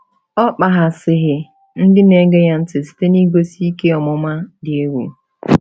Ọ kpaghasịghị ndị na-ege ya ntị site n’igosi ihe ọmụma dị egwu.